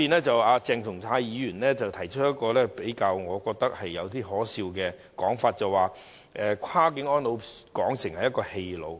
鄭松泰議員提出了一種我認為較可笑的說法，他將"跨境安老"描述為"跨境棄老"。